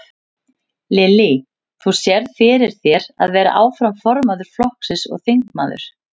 Lillý: Þú sérð fyrir þér að vera áfram formaður flokksins og þingmaður?